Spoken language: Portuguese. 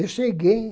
Eu cheguei